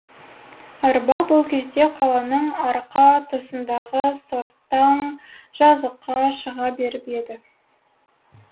арба бұл кезде қаланың арқа тұсындағы сортаң жазыққа шыға беріп еді